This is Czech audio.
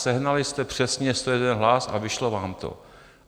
Sehnali jste přesně 101 hlas a vyšlo vám to.